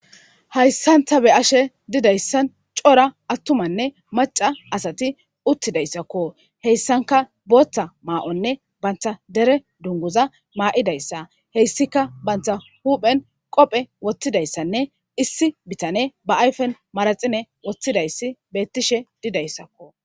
Hayssan ta be'ashe didayssan cora attumanne macca asati uttidayssakko heyssanka booththa maa'onne banta dere dunguza maa'idayssa heyssika banta huphen qophe wothidayssanne issi bitane ba ayfen maraxine wottidayssi beettishe didayssakko.